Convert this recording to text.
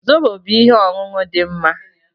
Zobo bụ ihe ọṅụṅụ dị mma